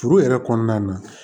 Furu yɛrɛ kɔnɔna na